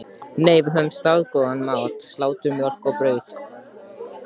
Nei, við höfðum staðgóðan mat: Slátur, mjólk og brauð.